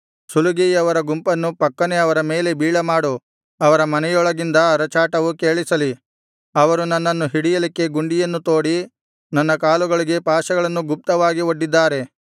ಸುಲಿಗೆಯವರ ಗುಂಪನ್ನು ಫಕ್ಕನೆ ಅವರ ಮೇಲೆ ಬೀಳಮಾಡು ಅವರ ಮನೆಗಳೊಳಗಿಂದ ಅರಚಾಟವು ಕೇಳಿಸಲಿ ಅವರು ನನ್ನನ್ನು ಹಿಡಿಯಲಿಕ್ಕೆ ಗುಂಡಿಯನ್ನು ತೋಡಿ ನನ್ನ ಕಾಲುಗಳಿಗೆ ಪಾಶಗಳನ್ನು ಗುಪ್ತವಾಗಿ ಒಡ್ಡಿದ್ದಾರೆ